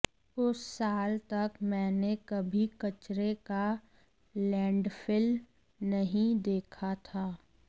उस साल तक मैंने कभी कचरे का लैंडफिल नहीं देखा था